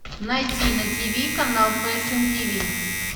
найти на тв канал фэшн тв